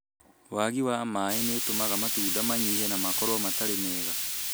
Wagi wa maai ni ũtamaga matunda manyihe na makorwo matarĩ mega